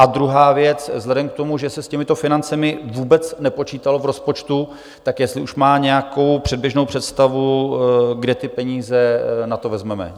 A druhá věc, vzhledem k tomu, že se s těmito financemi vůbec nepočítalo v rozpočtu, tak jestli už má nějakou předběžnou představu, kde ty peníze na to vezmeme.